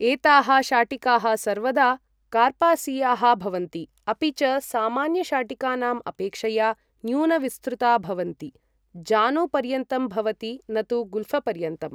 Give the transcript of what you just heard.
एताः शाटिकाः सर्वदा कार्पासीयाः भवन्ति, अपि च सामान्यशाटिकानाम् अपेक्षया न्यूनविस्तृता भवन्ति, जानुपर्यन्तं भवति न तु गुल्फपर्यन्तम्।